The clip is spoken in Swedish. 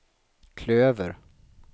klöver